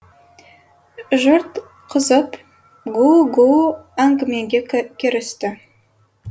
жұрт қызып гүу гүу әңгімеге кірісті